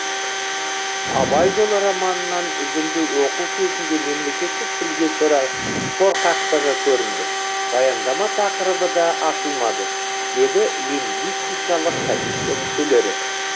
абай жолы романынан үзінді оқу кезінде мемлекеттік тілге шорқақтығы көрінді баяндама тақырыбы да ашылмады деді лингвистикалық комиссия мүшелері